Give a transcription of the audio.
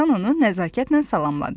Dovşan onu nəzakətlə salamladı.